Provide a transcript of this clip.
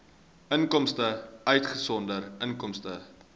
inkomste uitgesonderd inkomste